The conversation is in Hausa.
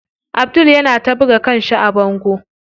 Abdul yana ta buga kanshi a bango.